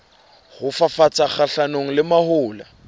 ho fafatsa kgahlanong le mahola